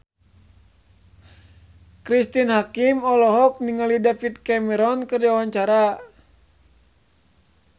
Cristine Hakim olohok ningali David Cameron keur diwawancara